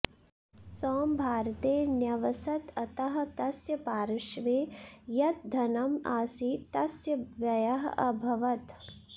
सॅम् भारते न्यवसत् अतः तस्य पार्श्वे यत् धनम् आसीत् तस्य व्ययः अभवत्